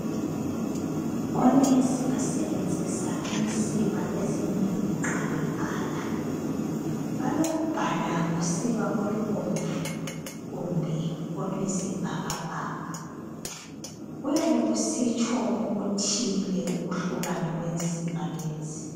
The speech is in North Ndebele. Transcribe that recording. Onensi basebenzisa insiba ezimbili nxa bebhala. Balokubhala ngosiba olubomvu kumbe oluyisibhakabhaka. Kuyabe kusitsho okuthile ukuhlukana kwensiba lezi.